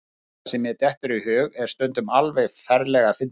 Það sem mér dettur í hug er stundum alveg ferlega fyndið.